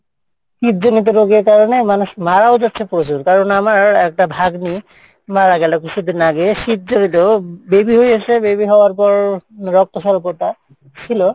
হৃদ জনিত রোগের কারণে মানুষ মারাও যাচ্ছে প্রচুর কারন আমার একটা ভাগ্নি মারা গেলো কিসুদিন আগে শীত জড়িত baby হয়ে গেসে baby হওয়ার পর, রক্তসল্পতা ছিলো